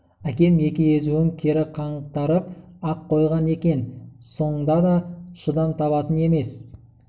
әкем екі езуін кере қаңтарып ақ қойған екен соңда да шыдам табатын емес